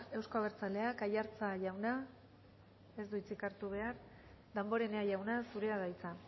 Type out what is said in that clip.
euzko abertzaleak aiartza jauna ez du hitzik hartu behar damborenea jauna zurea da hitza